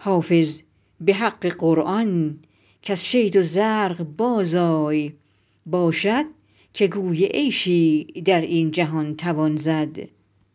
حافظ به حق قرآن کز شید و زرق بازآی باشد که گوی عیشی در این جهان توان زد